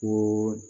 Ko